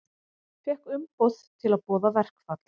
Fékk umboð til að boða verkfall